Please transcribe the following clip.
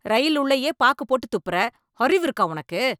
ரயில் உள்ளேயே பாக்கு போட்டு துப்புற, அறிவு இருக்கா உனக்கு?